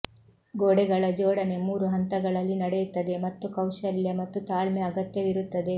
ಗೋಡೆಗಳ ಜೋಡಣೆ ಮೂರು ಹಂತಗಳಲ್ಲಿ ನಡೆಯುತ್ತದೆ ಮತ್ತು ಕೌಶಲ್ಯ ಮತ್ತು ತಾಳ್ಮೆ ಅಗತ್ಯವಿರುತ್ತದೆ